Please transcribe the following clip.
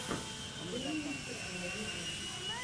время и стекло ютюб